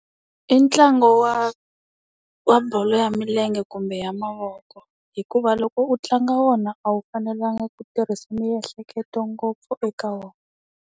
I ntlangu wa, wa bolo ya milenge kumbe ya mavoko. Hikuva loko u tlanga wona a wu fanelanga ku tirhisa miehleketo ngopfu eka wona.